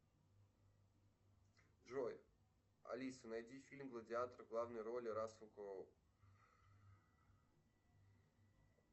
джой алиса найди фильм гладиатор в главной роли рассел кроу